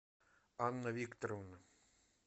анна викторовна